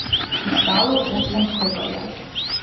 Ostalo osem krokarjev.